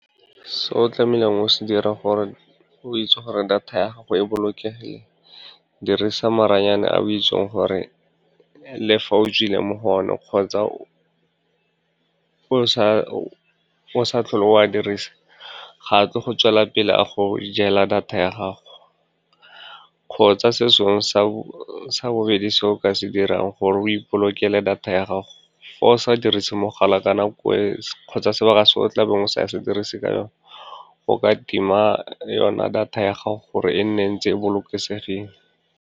Se o tlamehileng o se dire gore o itse gore data ya gago e bolokegile, dirisa maranyane a o itseng gore le fa o tswile mo go one kgotsa o sa tlhole o a dirisa, ga a tlo go tswela pele a go jela data ya gago. Kgotsa se sengwe sa bobedi se o ka se dirang gore o ipolokela data ya gago, fa o sa dirise mogala ka nako e kgotsa sebaka se o tla beng o sa se dirise ka yone, o ka tima yona data ya gago gore e nne e ntse e bolokesegileng.